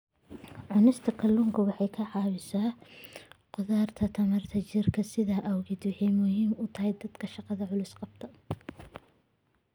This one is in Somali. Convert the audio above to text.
Cunista kalluunku waxa ay caawisaa korodhka tamarta jidhka, sidaas awgeed waxa ay muhiim u tahay dadka shaqo culus qabta.